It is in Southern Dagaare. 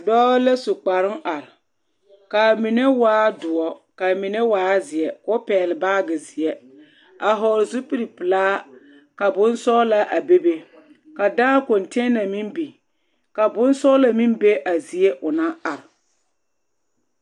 Dɔɔ la su kparoŋ are k'a mine waa doɔ k'a mine waa zeɛ k'o pɛgele baagi zeɛ a hɔɔle zupili pelaa ka bonsɔgelaa a bebe ka dãã konteena meŋ biŋ ka bonsɔgelɔ meŋ be a zie o naŋ are.